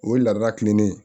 O ye laada kilennen ye